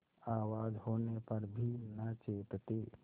आवाज होने पर भी न चेतते